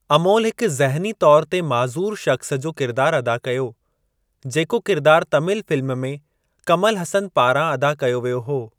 अमोल हिक ज़हनी तौर ते मइज़ूर शख़्सु जो किरदार अदा कयो जेको किरदार तमिल फ़िल्म में कमल हसन पारां अदा कयो वियो हो।